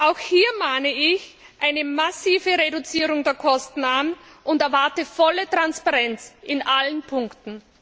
Auch hier mahne ich eine massive Reduzierung der Kosten an und erwarte volle Transparenz in allen Punkten.